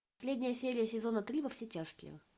последняя серия сезона три во все тяжкие